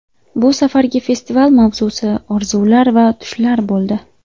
Bu safargi festival mavzusi orzular va tushlar bo‘ldi.